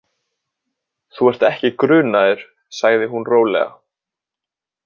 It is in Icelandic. Þú ert ekki grunaður, sagði hún rólega.